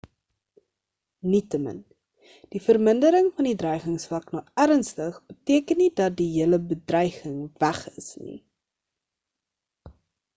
nietemin die vermindering van die dreigingsvlak na ernstig beteken nie dat die hele bedreiging weg is nie